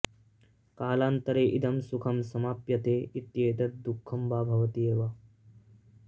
कालान्तरे इदं सुखं समाप्यते इत्येतत् दुःखं वा भवति एव